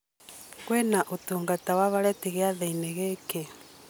kwĩna ũtungata wa valeti gĩathĩ-inĩ gĩkĩ